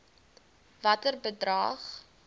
watter bedrag